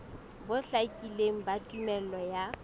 bo hlakileng ba tumello ya